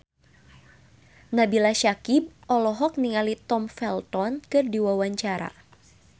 Nabila Syakieb olohok ningali Tom Felton keur diwawancara